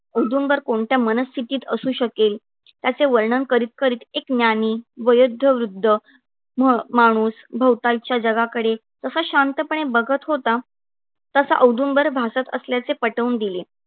औदुंबर कोणत्या मनस्थितीत असू शकेल? याचे वर्णन करीत करीत एक ज्ञानी वयोद्ध वृद्ध मा माणूस भोवतालच्या जगाकडे कसा शांतपणे बघत होता तसा औदुंबर भासत असल्याचे पटवून दिले.